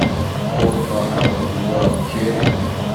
полкилограмма помидоров черри